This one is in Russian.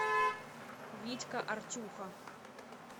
витька артюха